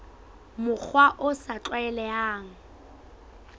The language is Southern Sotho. mokgwa o sa tlwaelehang re